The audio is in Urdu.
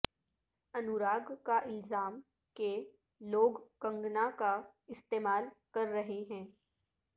انوراگ کا الزام کہ لوگ کنگنا کا استعمال کر رہے ہیں